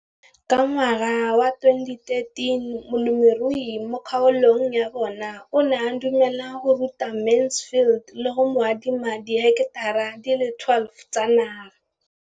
Ka ngwaga wa 2013, molemirui mo kgaolong ya bona o ne a dumela go ruta Mansfield le go mo adima di heketara di le 12 tsa naga.